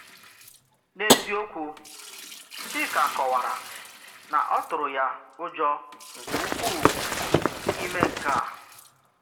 N’eziokwu, Chíka kọ̀wárà na ọ̀ tụrụ ya ụjọ nke ukwúu imè nke a